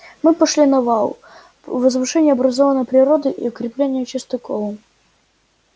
мы пошли на вал возвышение образованное природой и укрепление частоколом